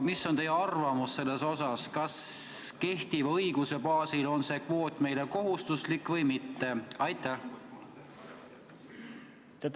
Mis on teie arvamus, kas kehtiva õiguse baasil on see kvoot meile kohustuslik või mitte?